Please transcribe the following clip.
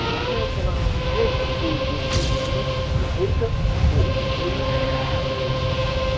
назначается она только по её требованию и только по улучшению клинических проявлений